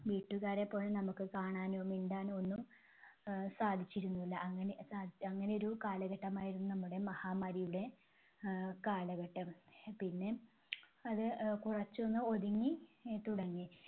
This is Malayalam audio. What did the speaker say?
വീട്ടുകാരെപ്പോലും നമുക്ക് കാണാനോ മിണ്ടാനോ ഒന്നും ആഹ് സാധിച്ചിരുന്നില്ല. അങ്ങനെ സാ അങ്ങനെ ഒരു കാലഘട്ടമായിരുന്നു നമ്മുടെ മഹാമാരിയുടെ ആഹ് കാലഘട്ടം. പിന്നെ അത് അഹ് കുറച്ചൊന്ന് ഒതുങ്ങി അഹ് തുടങ്ങി.